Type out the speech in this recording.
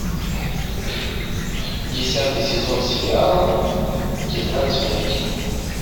десятый сезон сериала тетрадь смерти